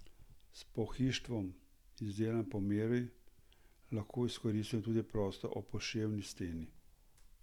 S pohištvom, izdelanim po meri, lahko izkoristimo tudi prostor ob poševni steni.